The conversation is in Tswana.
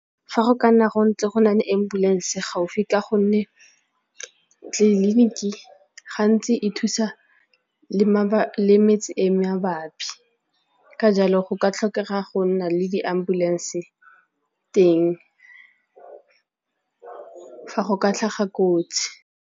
Fa go ka nna go ntse go na le ambulance gaufi ka gonne tleliniki gantsi e thusa le metse e mabapi ka jalo go ka tlhokega go nna le di ambulance teng fa go ka tlhaga kotsi.